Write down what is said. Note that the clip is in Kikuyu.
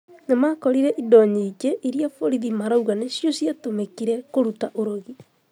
Nĩmakorire indo nyingĩ iria borithi marauga nĩcio ciatũmìkire kũruta ũrogi